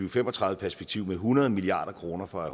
og fem og tredive perspektiv med hundrede milliard kroner for at